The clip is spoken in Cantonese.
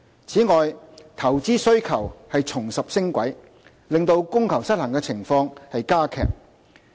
此外，投資需求重拾升軌，令供求失衡的情況加劇。